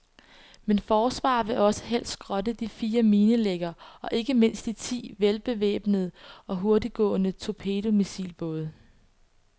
Men forsvaret vil også helst skrotte de fire minelæggere og ikke mindst de ti velbevæbnede og hurtiggående torpedomissilbåde.